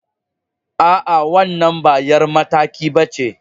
A'a, wannan ba 'yar mataki ba ce.